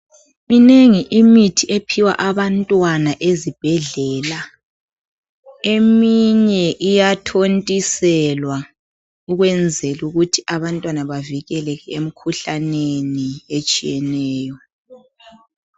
Minengi imithi ephiwa abantwana ezibhedlela, eminye iyathontiselwa ukwenzela ukuthi abantwana bavikelekele emikhuhlaneni etshiyeneyo.